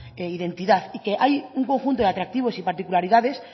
identidad y que hay un conjunto de atractivos y particularidades